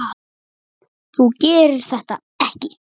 Þú gerir það ekki!